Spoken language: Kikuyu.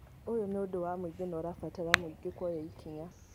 Ũyũ nĩ ũndũ wa mũingĩ na ũrabatara mũingĩ kuoya ikinya